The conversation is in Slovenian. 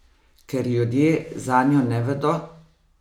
Ker ljudje zanjo ne vedo?